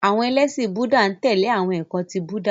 Àwọn ẹlẹ́ṣin Búúdà n tẹ̀lé awọn ẹkọ ti Búúdà.